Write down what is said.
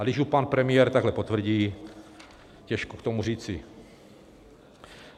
A když ji pan premiér takhle potvrdí, těžko k tomu říci.